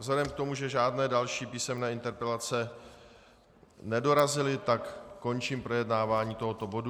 Vzhledem k tomu, že žádné další písemné interpelace nedorazily, tak končím projednávání tohoto bodu.